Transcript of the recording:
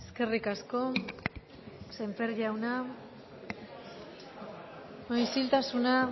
eskerrik asko sémper jauna bueno isiltasuna